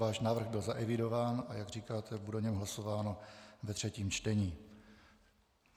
Váš návrh byl zaevidován, a jak říkáte, bude o něm hlasováno ve třetím čtení.